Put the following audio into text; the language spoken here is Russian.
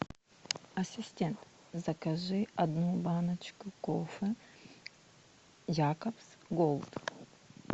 ассистент закажи одну баночку кофе якобс голд